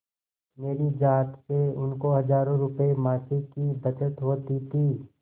मेरी जात से उनको हजारों रुपयेमासिक की बचत होती थी